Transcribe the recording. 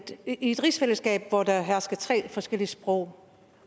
i et rigsfællesskab hvor der hersker tre forskellige sprog